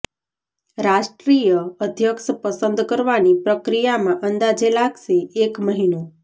રાષ્ટ્રીય અધ્યક્ષ પસંદ કરવાની પ્રક્રિયામાં અંદાજે લાગશે એક મહીનો